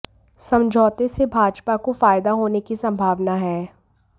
समझौते से भाजपा को फायदा होने की संभावना है